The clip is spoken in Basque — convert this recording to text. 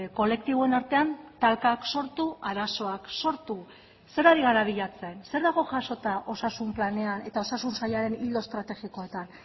kolektiboen artean talkak sortu arazoak sortu zer ari gara bilatzen zer dago jasota osasun planean eta osasun sailaren ildo estrategikoetan